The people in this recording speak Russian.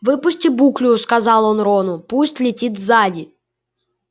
выпусти буклю сказал он рону пусть летит сзади